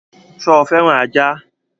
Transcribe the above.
Sọ fẹ́ràn ajá?